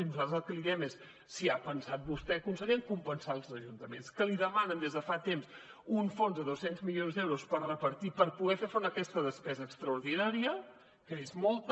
i nosaltres el que li diem és si ha pensat vostè conseller en compensar els ajuntaments que li demanen des de fa temps un fons de dos cents milions d’euros per repartir per poder fer front a aquesta despesa extraordinària que és molta